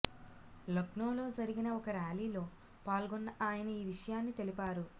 లక్నోలో జరిగిన ఒక ర్యాలీలో పాల్గొన్న ఆయన ఈ విషయాన్ని తెలిపారు